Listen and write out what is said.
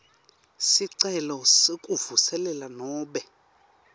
sicelo sekuvuselela nobe